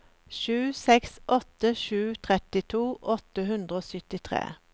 sju seks åtte sju trettito åtte hundre og syttitre